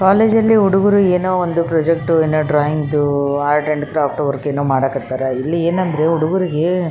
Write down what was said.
college ಅಲ್ಲಿ ಹುಡುಗರು ಏನೋಒಂದು ಪ್ರಾಜೆಕ್ಟ್ ಏನೋ ಡ್ರಾಯಿಂಗ್ ದು ಕ್ರಾಫ್ಟ್ ವರ್ಕ್ ಏನೋ ಮಾಡಕ್ ಹತ್ತರ ಇಲ್ಲಿ ಏನು ಅಂದ್ರೆ--